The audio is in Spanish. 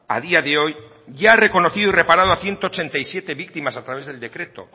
a día de hoy ya ha reconocido y reparado a ciento ochenta y siete víctimas a través del decreto